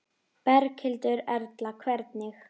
Berghildur Erla: Hvernig?